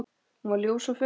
Hún var ljós og fögur.